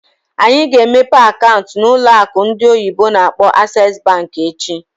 Anyị ga-emepe akaụntụ na ụlọ akụ ndị oyibo n'akpọ "Access Bank" echi.